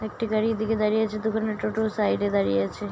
একটি গাড়ি এদিকে দাঁড়িয়ে আছে দুখানা টোটো সাইড -এ দাঁড়িয়ে আছে ।